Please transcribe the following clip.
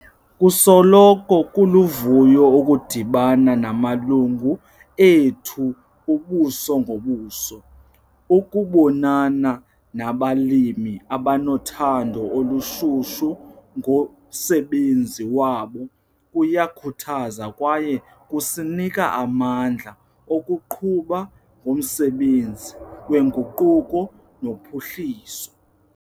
Kusoloko kuluvuyo ukudibana namalungu ethu ubuso ngobuso. Ukubonana nabalimi abanothando olushushu ngomsebenzi wabo kuyakhuthaza kwaye kusinika amandla okuqhuba ngomsebenzi wenguquko nophuhliso.